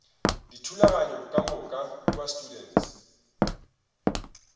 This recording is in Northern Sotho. dithulaganyo ka moka kua students